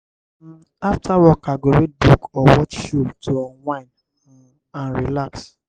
um after work i go read book or watch show to unwind um and relax.